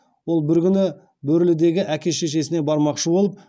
ол бір күні бөрлідегі әке шешесіне бармақшы болады